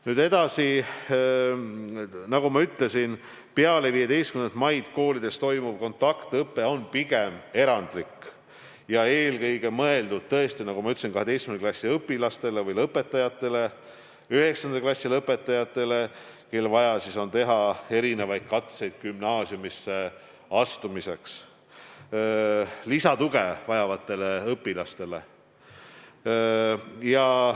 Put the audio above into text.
Nüüd edasi, nagu ma ütlesin, peale 15. maid koolides toimuv kontaktõpe on pigem erandlik ja eelkõige mõeldud tõesti 12. klassi õpilastele või lõpetajatele ja 9. klassi lõpetajatele, kellel on vaja teha katseid gümnaasiumisse astumiseks, samuti lisatuge vajavatele õpilastele.